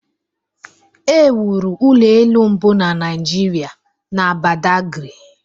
e wuru ụlọ elu mbụ na Naijiria na Badagry